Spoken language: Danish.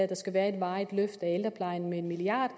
der skal være et varigt løft af ældreplejen med en milliard